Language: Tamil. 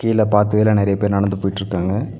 கீழ பாத்திதுல நெறைய பேர் நடந்து போயிட்ருக்காங்க.